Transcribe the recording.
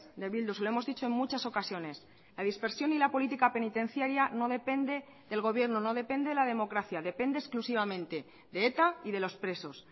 de bildu se lo hemos dicho en muchas ocasiones la dispersión y la política penitenciaria no depende del gobierno no depende de la democracia depende exclusivamente de eta y de los presos